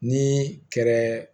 Ni kɛra